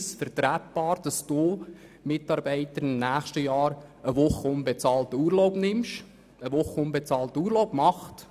Er fragt dann einzelne Mitarbeiter, ob es möglich sei, im nächsten Jahr eine Woche unbezahlten Urlaub zu nehmen.